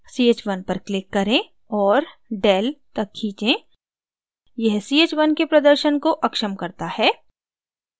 ch1 पर click करें और del तक खींचें यह ch1 के प्रदर्शन को अक्षम डिसेबल करता है